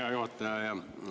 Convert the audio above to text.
Hea juhataja!